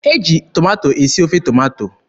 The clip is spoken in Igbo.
E ji tomato esi ofe tomato.